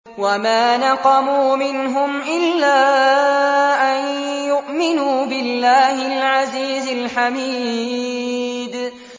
وَمَا نَقَمُوا مِنْهُمْ إِلَّا أَن يُؤْمِنُوا بِاللَّهِ الْعَزِيزِ الْحَمِيدِ